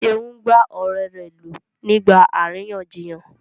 Seun gbá ọ̀rẹ́ rẹ̀ lù nígbà àríyànjiyàn.